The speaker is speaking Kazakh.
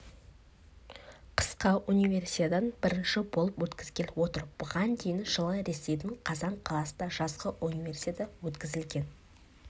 қысқы универсиаданы бірінші болып өткізгелі отыр бұған дейін жылы ресейдің қазан қаласында жазғы универсиада өткізілген